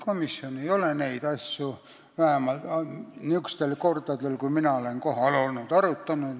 Komisjon ei ole neid asju vähemalt nendel kordadel, kui mina olen kohal olnud, arutanud.